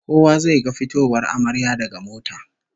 Kowa zai ga fitowar amaryar daga mota